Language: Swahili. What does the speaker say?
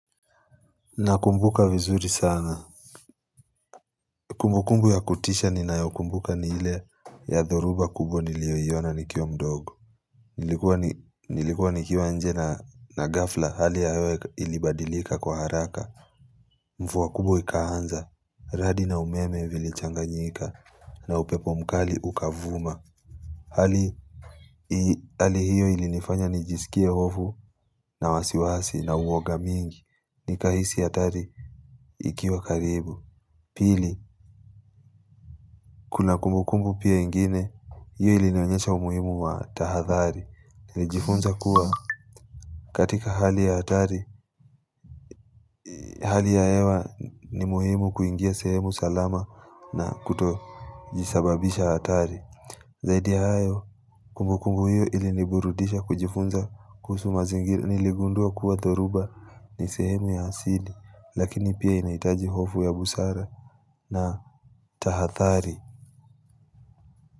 Nakumbuka vizuri sana Kumbukumbu ya kutisha ninaokumbuka ni ile ya dhoruba kubwa nilioiona nikiwa mdogo Nilikuwa nikiwa nje na ghafla hali ya hewa ilibadilika kwa haraka Mvua kubwa ikaanza, radi na umeme vilichanganyika na upepo mkali ukavuma Hali hiyo ilinifanya nijisikie hofu na wasiwasi na uoga mingi Nikahisi hatari ikiwa karibu Pili, kuna kumbukumbu pia ingine, hiyo ilinionyesha umuhimu wa tahadhari Nijifunza kuwa katika hali ya hatari, hali ya hewa ni muhimu kuingia sehemu salama na kutojisababisha hatari Zaidi ya hayo, kumbukumbu hiyo iliniburudisha kujifunza kuhusu mazingira Niligundua kuwa dhoruba ni sehemu ya asili, lakini pia inaitaji hofu ya busara na tahadhari.